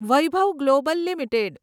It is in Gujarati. Vaibhav global limited